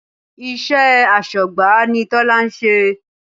Iṣẹ́ asọ́gbà ni Tola ń ṣe